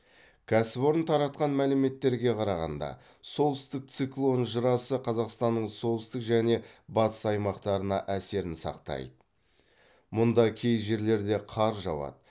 кәсіпорын таратқан мәліметтерге қарағанда солтүстік циклон жырасы қазақстанның солтүстік және батыс аймақтарына әсерін сақтайды мұнда кей жерлерде қар жауады